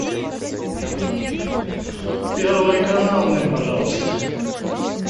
первый канал мне пожалуйста